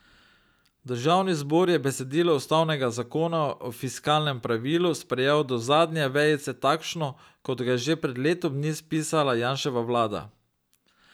Državni zbor je besedilo ustavnega zakona o fiskalnem pravilu sprejel do zadnje vejice takšno, kot ga je že pred letom dni spisala Janševa vlada.